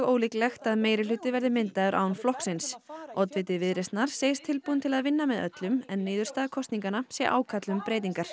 ólíklegt að meirihluti verði myndaður án flokksins oddviti Viðreisnar segist tilbúinn til að vinna með öllum en niðurstaða kosninganna sé ákall um breytingar